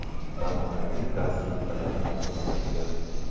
Zamonaviy gaz plitalari o‘rnatilgan.